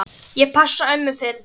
Ég passa ömmu fyrir þig.